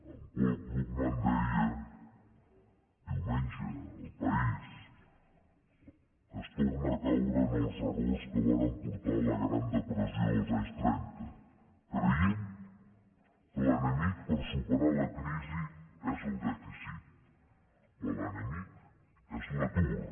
en paul krugman deia diumenge a el país que es torna a caure en els errors que varen portar a la gran depressió dels anys trenta creient que l’enemic per superar la crisi és el dèficit quan l’enemic és l’atur